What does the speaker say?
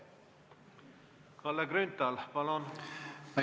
Kalle Grünthal, palun!